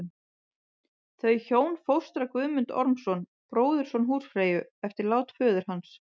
Þau hjón fóstra Guðmund Ormsson, bróðurson húsfreyju, eftir lát föður hans.